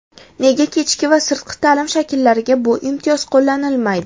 Nega kechki va sirtqi ta’lim shakllariga bu imtiyoz qo‘llanilmaydi?